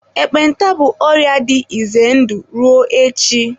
ekpenta bụ ọrịa dị ize ndụ ruo echi.